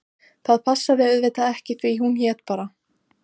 Það passaði auðvitað ekki því hún hét bara